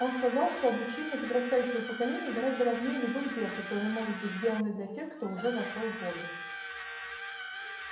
он сказал что обучение подрастающего поколения гораздо важнее любых дел которые могут быть сделаны для тех кто уже вошёл в возраст